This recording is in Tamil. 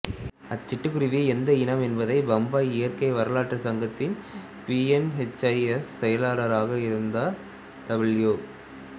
அச்சிட்டுக்குருவி எந்த இனம் என்பதை பம்பாய் இயற்கை வரலாற்று சங்கத்தின் பி என் ஹெச் எஸ் செயலாளராக இருந்த டபுள்யூ